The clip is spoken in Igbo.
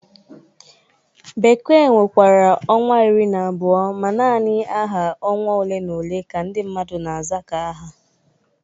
Bekee nwekwara ọnwa iri na abụo ma nanị aha ọnwa ole na ole ka ndị mmadụ na-aza ka aha.